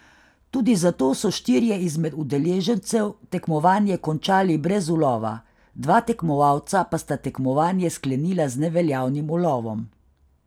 Tudi zato so štirje izmed udeležencev tekmovanje končali brez ulova, dva tekmovalca pa sta tekmovanje sklenila z neveljavnim ulovom.